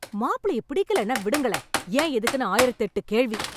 மாப்பிளைய பிடிக்கலேன்னா விடுங்களேன், ஏன் எதுக்குன்னு ஆயிரத்தெட்டு கேள்வி!